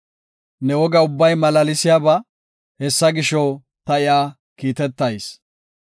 Ne woga ubbay malaalsiyaba; hessa gisho, ta iya kiitetayis.